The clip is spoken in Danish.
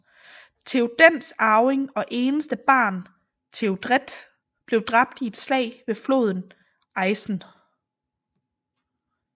Theodens arving og eneste barn Théodred blev dræbt i et slag ved floden Isen